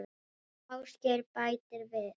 Ásgeir bætir við